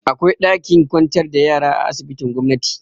Akwai ɗakin kwantar da yara a asibitin gomnati.